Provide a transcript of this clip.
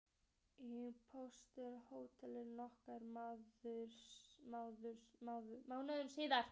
Í borðsal hótelsins nokkrum mánuðum síðar.